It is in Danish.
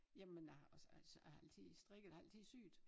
Jamen jeg har også altså jeg har altid strikket og har altid syet